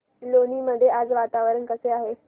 लोणी मध्ये आज वातावरण कसे आहे